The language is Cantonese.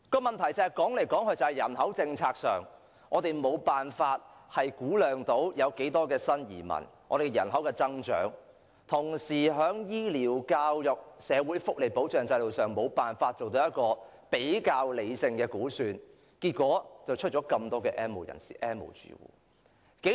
由於政府無法估量新移民的人口增長，以致無法就醫療、教育及社會福利保障制度，作出比較理性的估算，結果出現了這麼多 "N 無人士"及 "N 無住戶"。